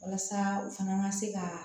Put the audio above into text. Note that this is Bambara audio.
Walasa u fana ka se ka